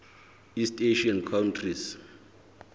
east asian countries